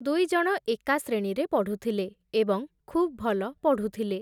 ଦୁଇଜଣ ଏକା ଶ୍ରେଣୀରେ ପଢ଼ୁଥିଲେ, ଏବଂ ଖୁବ୍ ଭଲ ପଢ଼ୁଥିଲେ ।